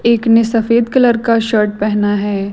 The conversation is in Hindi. एक ने सफेद कलर का शर्ट पहना है।